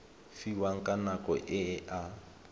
fiwang ka nako e a